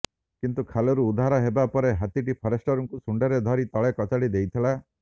କିନ୍ତୁ ଖାଲରୁ ଉଦ୍ଧାର ହେବା ପରେ ହାତୀଟି ଫରେଷ୍ଟରଙ୍କୁ ଶୁଣ୍ଢରେ ଧରି ତଳେ କଚାଡ଼ି ଦେଇଥିଲା